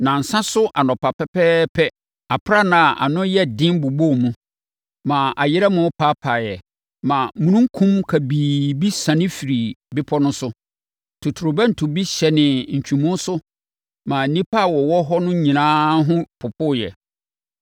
Nnansa so anɔpa pɛpɛɛpɛ, aprannaa a ano yɛ den bobɔɔ mu, ma ayerɛmo pepaeɛ, ma omununkum kabii bi siane firii bepɔ no so. Totorobɛnto bi hyɛnee ntwemu so ma nnipa a wɔwɔ hɔ no nyinaa ho popoeɛ.